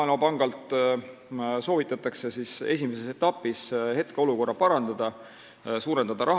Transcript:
Esimeses etapis soovitati hetkeolukorda parandada ja rahastust suurendada.